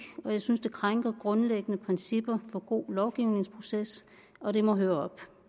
jeg synes det krænker grundlæggende principper for god lovgivningsproces og det må høre op